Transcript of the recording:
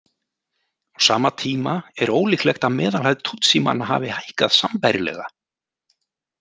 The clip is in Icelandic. Á sama tíma er ólíklegt að meðalhæð Tutsimanna hafi hækkað sambærilega.